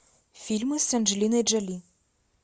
фильмы с анджелиной джоли